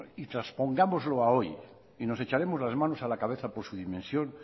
y transpongámoslo a hoy y nos echaremos las manos a la cabeza por su dimensión